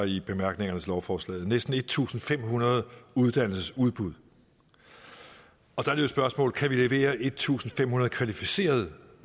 i bemærkningerne til lovforslaget næsten en tusind fem hundrede uddannelsesudbud og der er spørgsmålet kan levere en tusind fem hundrede kvalificerede